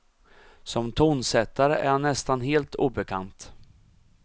Som tonsättare är han nästan helt obekant.